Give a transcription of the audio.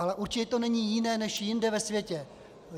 Ale určitě to není jiné než jinde ve světě.